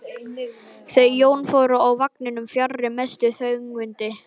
Þau Jón fóru úr vagninum fjarri mestu þvögunni.